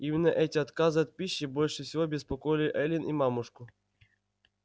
именно эти отказы от пищи больше всего беспокоили эллин и мамушку